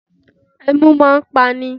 Ẹmu máa ń pa ni